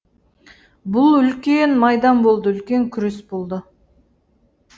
бұл үлкен майдан болды үлкен күрес болды